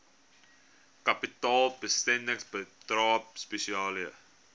kapitaalbesteding bydrae spesiale